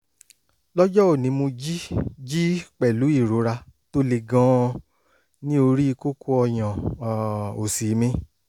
lọ́jọ́ òní mo jí jí pẹ̀lú ìrora tó le gan-an ní orí kókó ọyàn um òsì mi